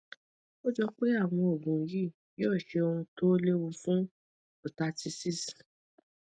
ó jọ pé àwọn oògùn yìí yóò ṣe ohun tó léwu fún prostatitis